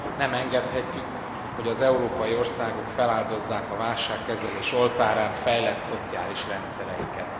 Nem engedhetjük, hogy az európai országok feláldozzák a válságkezelés oltárán fejlett szociális rendszereiket.